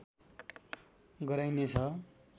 गराइने छ